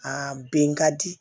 Aa bɛn ka di